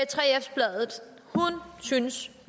synes